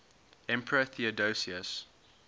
emperor theodosius